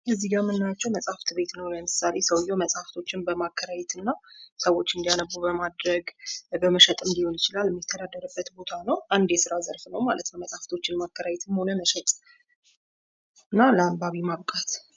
እዚህ ጋ የምናያቸው መጽሃፍት ቤትን ነው። ሰውየው እዚህ ጋ መጽሃፍቶችን ማከራየት እና ሰዎች እንዲያነቡ በማድረግ በመሸጥም ሊሆን ይችላል። የሚተደደርበት ቦታ ነው። አንድ የስራ ዘርፍ ነው ማለት ነው። ማከራያትሞ ሆነ መሸጥ። እና ለአንባቢ ማብቃት።